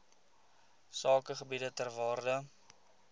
sakegebiede ter waarde